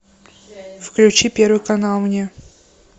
включи первый канал мне